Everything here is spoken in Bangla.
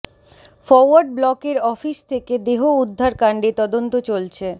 ফরওয়ার্ড ব্লকের অফিস থেকে দেহ উদ্ধার কাণ্ডে তদন্ত চলছে